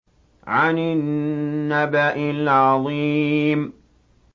عَنِ النَّبَإِ الْعَظِيمِ